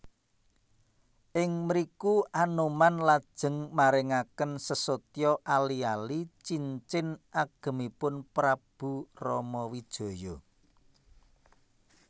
Ing mriku Anoman lajeng maringaken sesotya ali ali cincin agemipun Prabu Ramawijaya